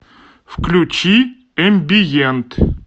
включи эмбиент